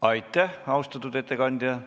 Aitäh, austatud ettekandja!